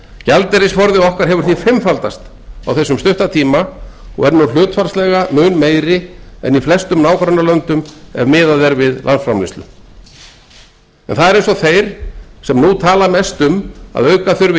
gjaldeyrisforði okkar hefur því fimmfaldast á þessum stutta tíma og er nú hlutfallslega mun meiri en í flestum nágrannalöndum ef miðað er við landsframleiðslu það er eins og þeir sem nú tala mest um að auka þurfi